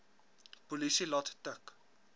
polisie laat tik